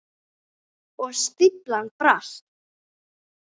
Og stíflan brast.